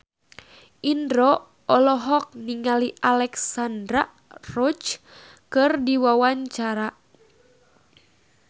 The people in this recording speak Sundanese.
Indro olohok ningali Alexandra Roach keur diwawancara